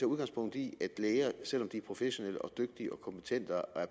udgangspunkt i at læger selv om de er professionelle og dygtige og kompetente og er